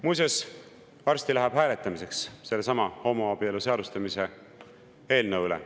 Muuseas, varsti läheb hääletamiseks sellesama homoabielu seadustamise eelnõu üle.